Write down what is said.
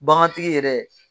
Bagantigi yɛrɛ